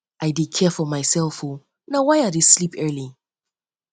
i i dey care for mysef o na why i dey sleep early